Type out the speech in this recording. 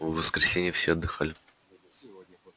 в воскресенье все отдыхали